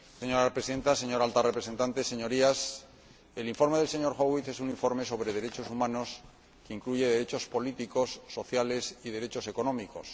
Señora Presidenta, señora Alta Representante, Señorías, el informe del señor Howitt es un informe sobre derechos humanos que incluye derechos políticos, sociales y derechos económicos.